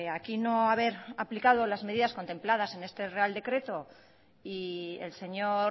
aquí no haber aplicado las medidas contempladas en este real decreto y el señor